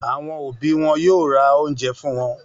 Àwọn òbí wọn yóò ra oúnjẹ fún wọn.